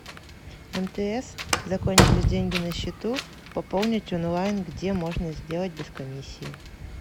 мтс закончились деньги на счету пополнить онлайн где можно сделать без комиссии